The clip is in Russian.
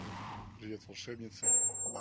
привет волшебницы